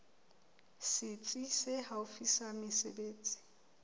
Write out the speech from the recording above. setsi se haufi sa mesebetsi